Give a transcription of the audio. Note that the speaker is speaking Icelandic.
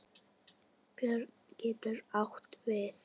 Björn getur átt við